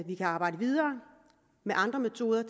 vi kan arbejde videre med andre metoder